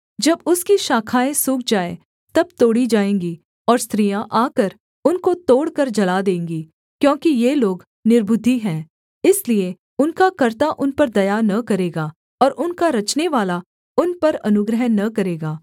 जब उसकी शाखाएँ सूख जाएँ तब तोड़ी जाएँगी और स्त्रियाँ आकर उनको तोड़कर जला देंगी क्योंकि ये लोग निर्बुद्धि हैं इसलिए उनका कर्ता उन पर दया न करेगा और उनका रचनेवाला उन पर अनुग्रह न करेगा